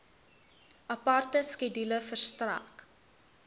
aparte skedule verstrek